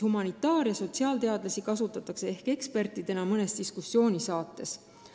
Humanitaar- ja sotsiaalteadlasi kasutatakse ehk ekspertidena mõnes diskussioonisaates.